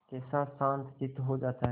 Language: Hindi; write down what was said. कैसा शांतचित्त हो जाता है